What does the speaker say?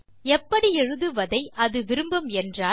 எப்படி எழுதுவதை அது விரும்பும் என்றால்